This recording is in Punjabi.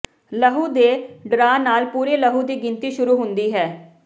ਲਹੂ ਦੇ ਡਰਾਅ ਨਾਲ ਪੂਰੀ ਲਹੂ ਦੀ ਗਿਣਤੀ ਸ਼ੁਰੂ ਹੁੰਦੀ ਹੈ